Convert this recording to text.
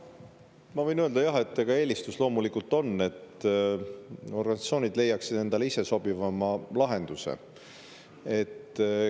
Ma võin öelda, et eelistus loomulikult on see, et organisatsioonid leiaksid endale ise sobiva lahenduse.